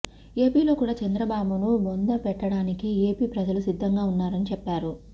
ఏపీలో కూడా చంద్రబాబును బొంద పెట్టడానికి ఏపీ ప్రజలు సిద్ధంగా ఉన్నారని చెప్పారు